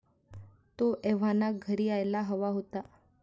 तो एव्हाना घरी यायला हवा होता.